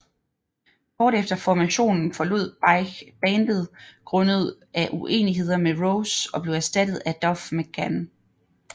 Kort efter formationen forlod Beich bandet grundet af uenigheder med Rose og blev erstattet af Duff McKagan